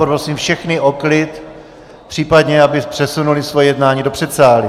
Poprosím všechny o klid, případně aby přesunuli svoje jednání do předsálí.